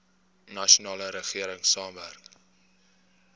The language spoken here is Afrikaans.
nasionale regering saamwerk